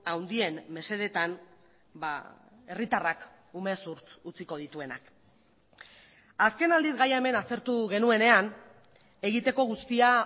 handien mesedetan herritarrak umezurtz utziko dituenak azken aldiz gaia hemen aztertu genuenean egiteko guztia